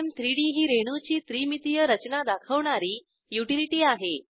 gchem3डी ही रेणूची त्रिमितीय रचना दाखवणारी युटिलिटी आहे